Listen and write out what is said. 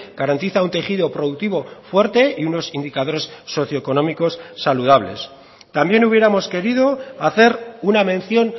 garantiza un tejido productivo fuerte y unos indicadores socio económicos saludables también hubiéramos querido hacer una mención